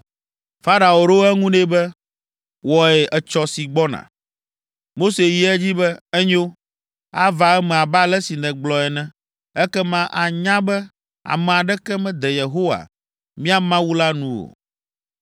Farao ɖo eŋu nɛ be, “Wɔe etsɔ si gbɔna.” Mose yi edzi be, “Enyo, ava eme abe ale si nègblɔ ene, ekema ànya be, ame aɖeke mede Yehowa, mía Mawu la nu o.